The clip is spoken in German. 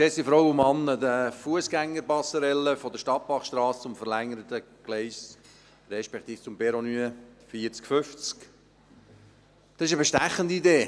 Die Fussgängerpasserelle von der Stadtbachstrasse zum verlängerten Gleis respektive zum Perron 49/50 ist eine bestechende Idee.